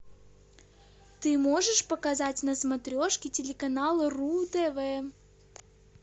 ты можешь показать на смотрешке телеканал ру тв